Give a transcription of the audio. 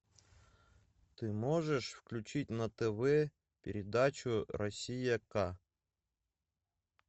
ты можешь включить на тв передачу россия к